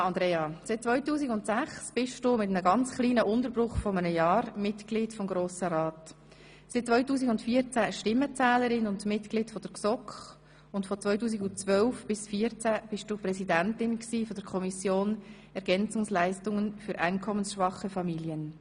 Ja, Andrea, seit 2006 bist du mit einem ganz kurzen Unterbruch von einem Jahr Mitglied des Grossen Rates, seit 2014 Stimmenzählerin und Mitglied der GSoK, und von 2012 bis 2014 warst du Präsidentin der Kommission Ergänzungsleistungen für einkommensschwache Familien.